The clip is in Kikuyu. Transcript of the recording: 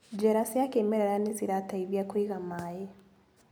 Njĩra cia kĩmerera nĩcirateithia kũiga maĩ.